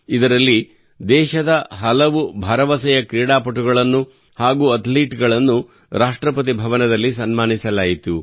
ಇದರಲ್ಲಿ ದೇಶದ ಹಲವು ಭರವಸೆಯ ಕ್ರೀಡಾಪಟುಗಳನ್ನು ಹಾಗೂ ಅಥ್ಲೀಟ್ ಗಳನ್ನು ರಾಷ್ಟ್ರಪತಿ ಭವನದಲ್ಲಿ ಸನ್ಮಾನಿಸಲಾಯಿತು